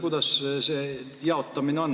Kuidas see jaotamine on?